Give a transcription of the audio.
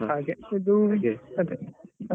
ಹಾಗೇಅದೂ .